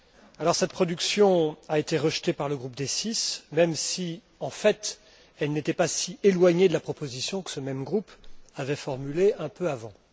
Alors, cette production a été rejetée par le groupe des Six, même si, en fait, elle n'était pas si éloignée de la proposition que ce même groupe avait formulée un peu avant.